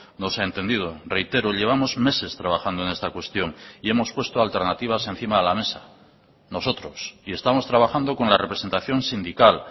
no se ha entendido reitero llevamos meses trabajando en esta cuestión y hemos puesto alternativas encima de la mesa nosotros y estamos trabajando con la representación sindical